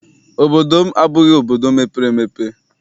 Obodo m abụghị obodo mepere emepe.